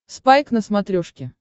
спайк на смотрешке